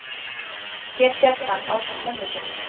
hér sést hann ásamt mömmu sinni